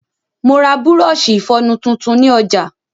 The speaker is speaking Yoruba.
Mo ra bùrọ̀ọ̀ṣi ìfọnu tuntun ni ọ̀jà.